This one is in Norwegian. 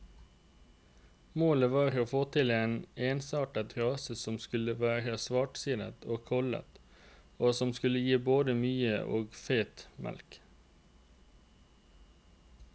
Målet var å få til en ensartet rase som skulle være svartsidet og kollet, og som skulle gi både mye og feit mjølk.